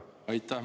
Aitäh!